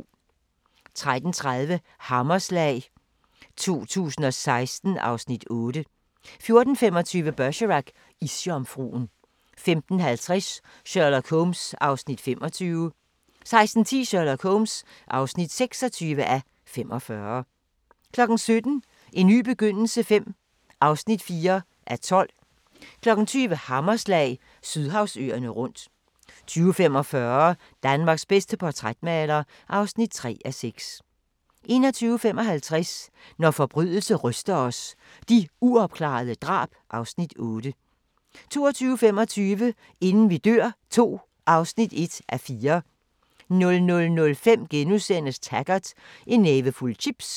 13:30: Hammerslag 2016 (Afs. 8) 14:25: Bergerac: Isjomfruen 15:20: Sherlock Holmes (25:45) 16:10: Sherlock Holmes (26:45) 17:00: En ny begyndelse V (4:12) 20:00: Hammerslag – Sydhavsøerne rundt 20:45: Danmarks bedste portrætmaler (3:6) 21:55: Når forbrydelse ryster os – De uopklarede drab (Afs. 8) 22:25: Inden vi dør II (1:4) 00:05: Taggart: En nævefuld chips *